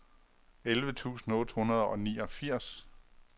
elleve tusind otte hundrede og niogfirs